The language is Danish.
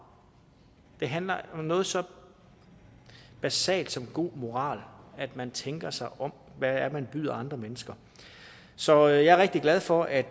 det handler om noget så basalt som god moral at man tænker sig om hvad man byder andre mennesker så jeg er rigtig glad for at